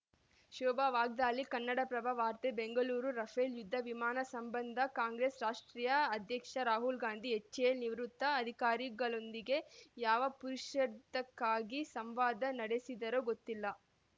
ಶೋಭಾ ವಾಗ್ದಾಳಿ ಕನ್ನಡಪ್ರಭ ವಾರ್ತೆ ಬೆಂಗಳೂರು ರಫೇಲ್‌ ಯುದ್ಧ ವಿಮಾನ ಸಂಬಂಧ ಕಾಂಗ್ರೆಸ್‌ ರಾಷ್ಟ್ರೀಯ ಅಧ್ಯಕ್ಷ ರಾಹುಲ್‌ ಗಾಂಧಿ ಎಚ್‌ಎಎಲ್‌ ನಿವೃತ್ತ ಅಧಿಕಾರಿಗಳೊಂದಿಗೆ ಯಾವ ಪುರುಷಾರ್ಥಕ್ಕಾಗಿ ಸಂವಾದ ನಡೆಸಿದರೋ ಗೊತ್ತಿಲ್ಲ